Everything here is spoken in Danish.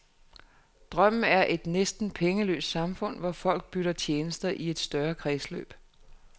Drømmen er et næsten pengeløst samfund, hvor folk bytter tjenester i et større kredsløb.